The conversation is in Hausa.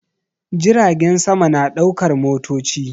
Jiragen sama na ɗaukar motoci